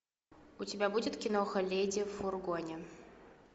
у тебя будет киноха леди в фургоне